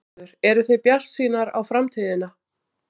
Sigurður: Eruð þið bjartsýnar á framtíðina?